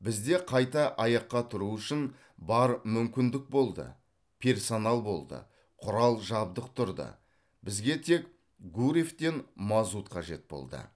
бізде қайта аяққа тұру үшін бар мүмкіндік болды персонал болды құрал жабдық тұрды бізге тек гурьевтен мазут қажет болды